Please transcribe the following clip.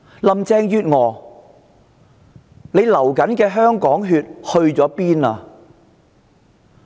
林鄭月娥所流的香港血去了哪裏？